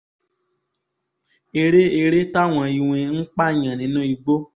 eré eré táwọn iwin ń pààyàn nínú igbó